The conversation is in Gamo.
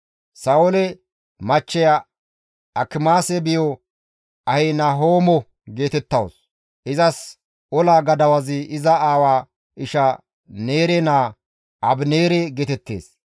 Sa7oole machcheya Akimaase biyo Ahinahoomo geetettawus; izas ola gadawazi iza aawa isha Neere naa Abineere geetettees.